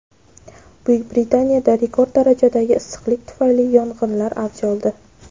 Buyuk Britaniyada rekord darajadagi issiqlik tufayli yong‘inlar avj oldi.